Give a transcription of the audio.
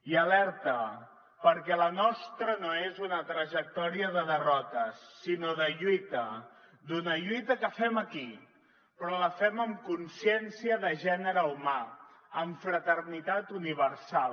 i alerta perquè la nostra no és una trajectòria de derrotes sinó de lluita d’una lluita que fem aquí però la fem amb consciència de gènere humà amb fraternitat universal